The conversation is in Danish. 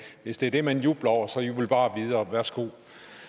hvis det er det man jubler over så jubl bare videre værsgo